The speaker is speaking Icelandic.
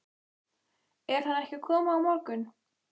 Er hann ekki að koma á morgun?